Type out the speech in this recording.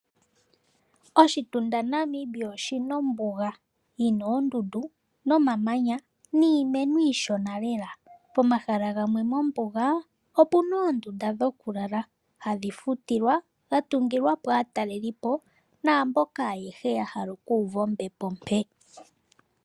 Oshitunda Namibia oshi na ombuga. Yi na oondundu nomamanya niimeno iishona lela. Pomahala gamwe mombuga pu na oondunda dhokulala hadhi futilwa dha tungilwa po aatalelipo naamboka ayehe ya hala okuuva ombepo ompe.